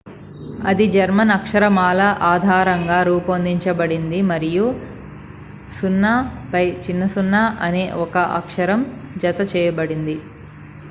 "అది జర్మన్ అక్షరమాల ఆధారంగా రూపొందించబడింది మరియు "õ/õ" అనే ఒక అక్షరం జత చేయబడింది.